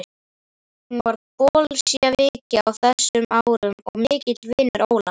Hann var bolséviki á þessum árum og mikill vinur Ólafs